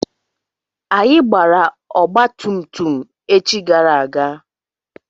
Anyị gbara ọgba tum tum echi gara aga.